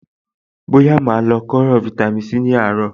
Bóyá màá lo kóró fáítámì Sí ní àárọ̀.